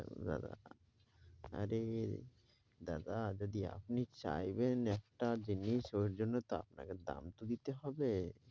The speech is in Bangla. দাদা আরে দাদা যদি আপনি চাইবেন একটা জিনিস ওর জন্য তো আপকে দাম তো দিতে হবে।